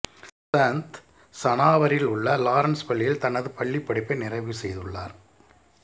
சந்த் சனாவரில் உள்ள லாரன்ஸ் பள்ளியில் தனது பள்ளி படிப்பை நிறைவு செய்துள்ளார்